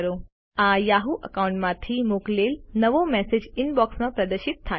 આ યાહુ એકાઉન્ટમાંથી મોકલેલ નવો મેસેજ ઇનબોક્સમાં પ્રદર્શિત થાય છે